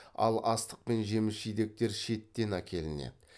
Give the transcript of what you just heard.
ал астық пен жеміс жидектер шеттен әкелінеді